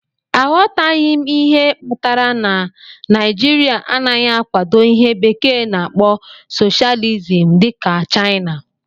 Aghọtaghị m ihe kpatara na Naijiria anaghị akwado ihe bekee na-akpo socialism dị ka Chaina.